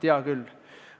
Vaatame seda, mis on täna.